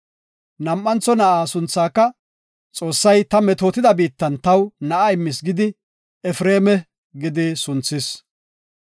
Nam7antho na7aa sunthaaka, “Xoossay ta metootida biittan taw na7a immis” gidi Efreema gidi sunthis.